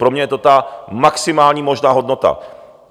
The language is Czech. Pro mě je to ta maximální možná hodnota.